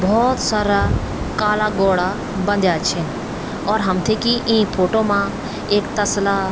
भोत सारा काला घोड़ा बंध्या छिन और हमथे की ई फोटो मा एक तसला --